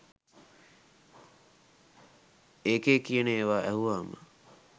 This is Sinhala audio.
ඒකේ කියන ඒවා ඇහුවාම